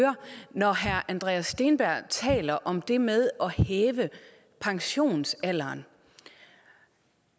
når herre andreas steenberg taler om det med at hæve pensionsalderen